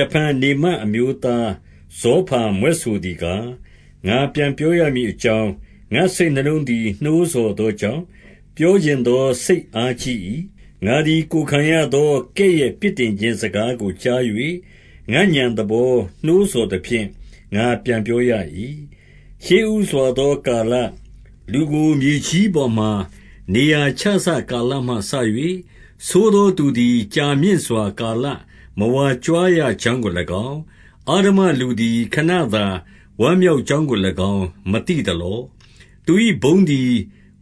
တဖန်နေမတ်အမျိုးသားဇောဖာမြွက်ဆိုသည်ကား၊ 2 ငါပြန်ပြောရမည်အကြောင်း၊ ငါ့စိတ်နှလုံးသည် နှိုးဆော်သောကြောင့်၊ ပြောချင်သောစိတ်အားကြီး၏။ 3 ငါသည်ကိုယ်ခံရသော ကဲ့ရဲ့ပြစ်တင်ခြင်း စကား ကိုကြား၍၊ ငါ့ဥာဏ်သဘောနှိုးဆော်သဖြင့် ငါပြန်ပြော ရ၏။ 4 ရှေ့ဦးစွာသောကာလ၊ လူကို မြေကြီးပေါ်မှာ နေရာချစကာလမှစ၍၊ 5 ဆိုးသောသူသည်ကြာမြင့်စွာကာလ မဝါကြွားရ ကြောင်းကို၎င်း၊ အဓမ္မလူသည် ခဏသာဝမ်းမြောက် ကြောင်းကို၎င်း မသိသလော။ 6 သူ၏ ဘုန်းသည်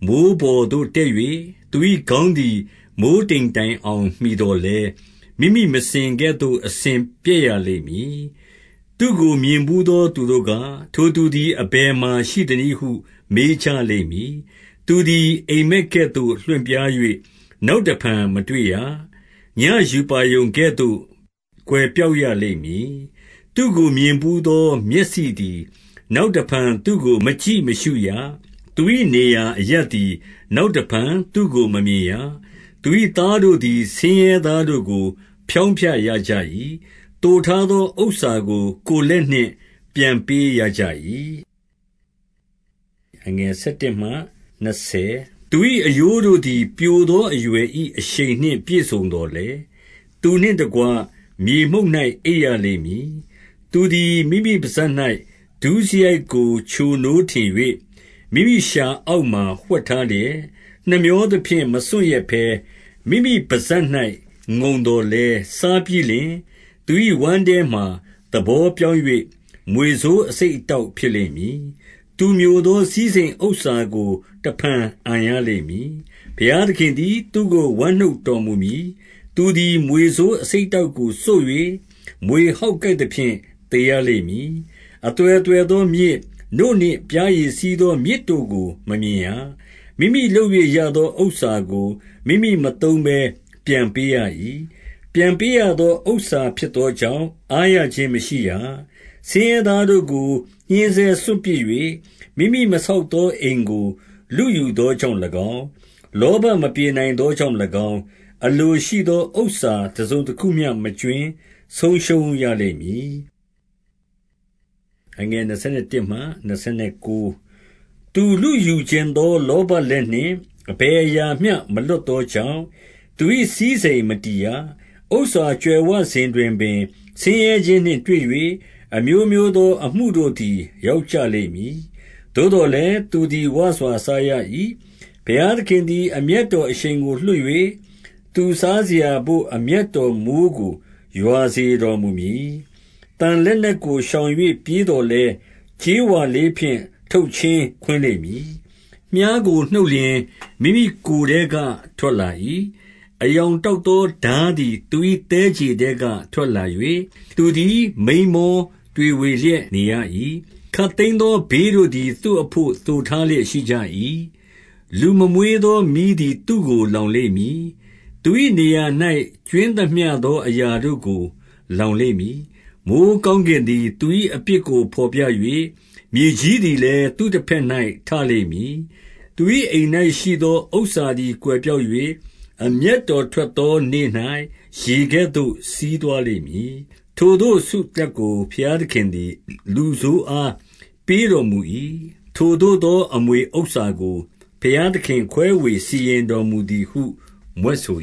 မိုဃ်းပေါ်သို့တက်၍၊ သူ၏ ခေါင်းသည် မိုဃ်းတိမ်တိုင်အောင် မှီသော်လည်း၊ 7 မိမိမစင်ကဲ့သို့အစဉ်ပျက်ရလိမ့်မည်။ သူ့ကို မြင်ဘူးသော သူတို့က၊ ထိုသူသည် အဘယ်မှာရှိသနည်းဟု မေးကြလိမ့်မည်။ 8 သူသည်အိပ်မက်ကဲ့သို့ လွင့်ပြား၍ နောက်တဖန် မတွေ့ရ။ ညဉ့်ရူပါရုံကဲ့သို့ ကွယ်ပျောက်ရလိမ့်မည်။ 9 သူ့ကိုမြင်ဘူးသော မျက်စိသည် နောက်တဖန် သူ့ကို မကြည့်မရှုရ။ သူ၏နေရာအရပ်သည် နောက် တဖန်သူ့ကိုမမြင်ရ။ 10 သူ၏သားတို့သည် ဆင်းရဲသားတို့ကို ဖျောင်းဖျ ရကြ၏။ သိုထားသောဥစ္စာကို ကိုယ်လက်နှင့် ပြန်ပေး ရကြ၏။ 11 သူ၏အရိုးတို့သည် ပျိုသောအရွယ်၏ အရှိန် နှင့်ပြည့်စုံသော်လည်း၊ သူနှင့်တကွ မြေမှုန့်၌ အိပ်ရ ကြလိမ့်မည်။ 12 သူသည်မိမိပစပ်၌ ဒုစရိုက်ကိုချိုနိုးထင်၍၊ မိမိလျှာအောက်မှာ ဝှက်ထားလျက်၊ 13 နှမြောသဖြင့် မစွန့်ရက်ဘဲ၊ မိမိပစပ်၌ ငုံသော် လည်း၊ 14 စားပြီးလျှင်သူ၏ ဝမ်းထဲမှာ သဘောပြောင်း၍ မြွေဆိုးအဆိပ်အတောက်ဖြစ်လိမ့်မည်။ 15 သူမျိုသောစည်းစိမ်ဥစ္စာကို တဖန်အန်ရလိမ့် မည်။ ဘုရားသခင်လည်း သူ့ကို ဝမ်းနှုတ်တော်မူမည်။ 16 သူသည် မြွေဆိုးအဆိပ်အတောက်ကို စို့၍ မြွေဟောက်ကိုက်သဖြင့် သေရလိမ့်မည်။ 17 အသွယ်သွယ်သောမြစ်၊ နို့နှင့်ပျားရည်စီးသော မြစ်တို့ကို မမြင်ရ။ 18 မိမိလုပ်၍ရသောဥစ္စာကို မိမိမသုံးဘဲ ပြန်ပေး ရ၏။ ပြန်ပေးရသော ဥစ္စာဖြစ်သောကြောင့် အားရခြင်း မရှိရ။ 19 ဆင်းရဲသားတို့ကို ညှဉ်းဆဲစွန့်ပစ်၍၊ မိမိ မဆောက်သော အိမ်ကို လုယူသောကြောင့်၎င်း၊ 20 လောဘမပြေနိုင်သောကြောင့်၎င်း၊ အလိုရှိ သော ဥစ္စာတစုံတခုမျှမကြွင်း ဆုံးရှုံးရလိမ့်မည်။ 21 သူလုယူချင်သော လောဘလက်နှင့် အဘယ် အရာမျှ မလွတ်သောကြောင့်၊ သူ၏စည်းစိမ်မတည်ရ။ 22 ဥစ္စာကြွယ်ဝစဉ်တွင်ပင် ဆင်းရဲခြင်းနှင့်တွေ့၍၊ အမျိုးမျိုးသော အမှုတို့သည် ရောက်ကြလိမ့်မည်။ 23 သို့သော်လည်း သူသည်ဝစွာစားရ၏။ ဘုရားသခင်သည် အမျက်တော်အရှိန်ကို လွှတ်၍သူစားစရာဘို့ အမျက်တော် မိုဃ်းကို ရွာစေတော်မူမည်။ 24 သံလက်နက်ကိုရှောင်၍ ပြေးသော်လည်း၊ ကြေးဝါလေးဖြင့် ထုတ်ချင်းခွင်းလိမ့်မည်။ 25 မြှားကိုနှုတ်လျှင် မိမိကိုယ်ထဲက ထွက်လာ၏။ အရောင်တောက် သောထားသည်သူ၏ သည်းခြေထဲက ထွက်လာ၍၊ သူသည် မိန်းမောတွေဝေလျက် နေရ၏။ 26 ခပ်သိမ်းသောဘေးတို့သည် သူ့အဘို့ သိုထား လျက်ရှိကြ၏။ လူမမွေးသောမီးသည် သူ့ကိုလောင်လိမ့် မည်။ သူ၏နေရာ၌ ကြွင်းသမျှသော အရာတို့ကို လောင် လိမ့်မည်။ 27 မိုဃ်းကောင်းကင်သည် သူ၏အပြစ်ကို ဘော်ပြ ၍၊ မြေကြီးသည်လည်း သူ့တဘက်၌ ထလိမ့်မည်။ 28 သူ၏အိမ်၌ရှိသော ဥစ္စာသည်ကွယ်ပျောက်၍၊ အမျက်တော် ထွက်သာနေ့၌ ရေကဲ့သို့စီးသွားလိမ့်မည်။ 29 ထိုသို့သောဆုလပ်ကို ဘုရားသခင်သည် လူဆိုး အားပေးတော်မူ၏။ ထိုသို့သောအမွေဥစ္စာကို ဘုရား သခင် ခွဲဝေစီရင်တော်မူသည်ဟု မြွက်ဆို